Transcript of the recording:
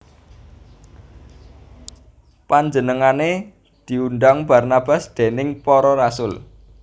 Panjenengané diundang Barnabas déning para rasul